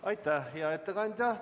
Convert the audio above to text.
Aitäh, hea ettekandja!